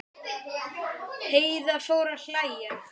Heiða fór að hlæja.